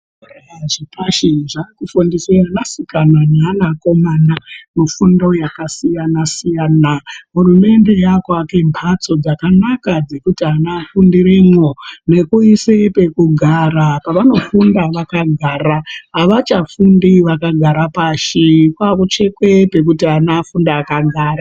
Zvikora zvepashi zvakufundise vasikana neana akomamana mifundo yakasiyana siyana. Hurumende yakuake mbatso dzakanaka dzekuti ana afundiremwo nekuise pekugara pavanofunda vakagara avachafundi vakagara pashi pautsvakwe pekuti ana afunde vakagara.